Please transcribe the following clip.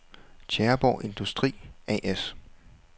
Tjæreborg Industri A/S